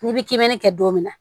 N'i bi kebinɛri kɛ don min na